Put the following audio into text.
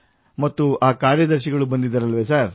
ಮತ್ತು ಆ ಕಾರ್ಯದರ್ಶಿಗಳು ಬಂದಿದ್ದರಲ್ಲವೇ ಸರ್